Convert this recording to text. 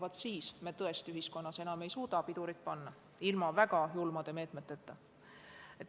Vaat siis ei suudaks me tõesti enam ühiskonnas pidurit panna, ilma et rakendaksime väga julmi meetmeid.